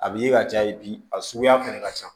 A b'i ye ka caya yen bi a suguya fɛnɛ ka ca